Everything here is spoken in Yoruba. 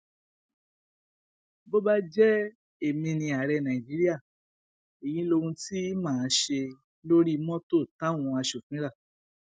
bó bá jẹ èmi ni ààrẹ nàìjíríà èyí lohun tí mà á ṣe lórí mọtò táwọn asòfin rà